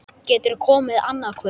Geturðu komið annað kvöld?